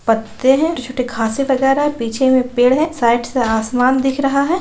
पत्ते हैं छोटे छोटे घासे वगेरह है पीछे में एक पेड़ है साइड से आसमान दिख रहा है।